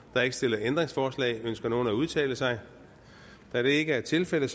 er ikke stillet ændringsforslag ønsker nogen at udtale sig da det ikke er tilfældet